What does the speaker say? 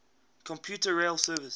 commuter rail service